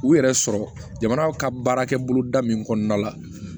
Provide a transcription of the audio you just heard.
U yɛrɛ sɔrɔ jamana ka baarakɛ bolo da min kɔnɔna la